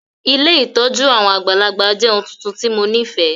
Ilé ìtójú àwon àgbàlagbà jẹ oun tuntun ti mo nifẹ.